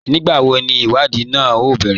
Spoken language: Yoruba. Nígbàwó ní ìwádìí náà o bẹ̀rẹ̀?